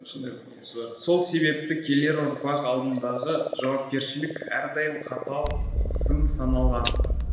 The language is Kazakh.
сол себепті келер ұрпақ алдындағы жауапкершілік әрдайым қатал сын саналған